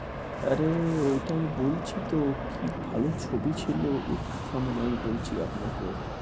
আরে এটাই বলছি তো কি ভালো ছবি ছিল থামন আমি বলছি আপনাকে।